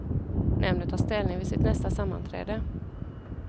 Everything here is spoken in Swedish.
Nämnden tar ställning vid sitt nästa sammanträde.